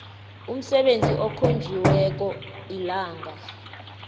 umsebenzi okhonjiweko ilanga